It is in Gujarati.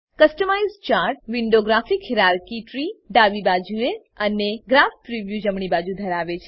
customise chart window graph hierarchy ત્રી ડાબી બાજુએ અને ગ્રાફ પ્રિવ્યૂ જમણી બાજુએ ધરાવે છે